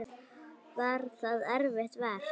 Var það erfitt verk?